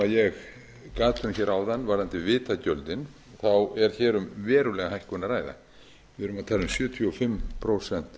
gat um hér áðan varðandi vitagjöldin er hér um verulega hækkun að að við erum að tala um sjötíu og fimm prósent